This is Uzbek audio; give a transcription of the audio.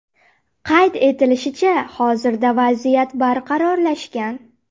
Qayd etilishicha, hozirda vaziyat barqarorlashgan.